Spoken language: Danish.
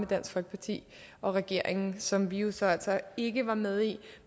dansk folkeparti og regeringen som vi altså altså ikke var med i